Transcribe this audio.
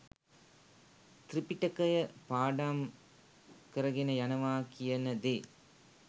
ත්‍රිපිටකය පාඩම් කරගෙන යනවා කියන දේ